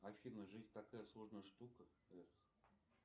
афина жизнь такая сложная штука